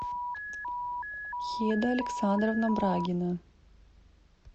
хеда александровна брагина